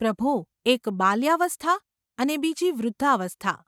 પ્રભો !’ ‘એક બાલ્યાવસ્થા અને બીજી વૃદ્ધાવસ્થા.